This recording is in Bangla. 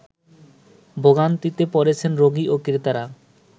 ভোগান্তিতে পড়েছেন রোগী ও ক্রেতারা